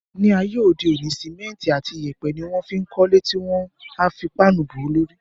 Ní ayé òde òní, símẹ́ntì àti yèèpẹ̀ ni wọ́n fí ń kọ́le tí wọ́n a fi páànù bò ó lórí